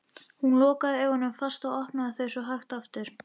Hún lokaði augunum fast og opnaði þau svo hægt aftur.